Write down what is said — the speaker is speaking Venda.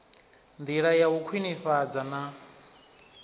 ndila ya u khwinifhadza na